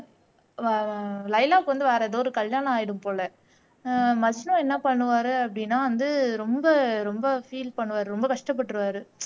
ஆஹ் லைலாக்கு வந்து வேற எதோ ஒரு கல்யாணம் ஆகிடும் போல ஆஹ் மஜ்னு என்ன பண்ணுவாரு அப்படின்னா வந்து ரொம்ப ரொம்ப ஃபீல் பண்ணுவாரு ரொம்ப கஷ்டப்பட்டுருவாரு